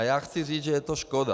A já chci říci, že je to škoda.